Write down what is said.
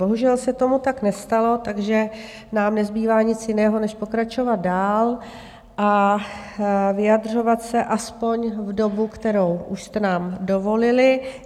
Bohužel se tak tomu nestalo, takže nám nezbývá nic jiného než pokračovat dál a vyjadřovat se aspoň v dobu, kterou už jste nám dovolili.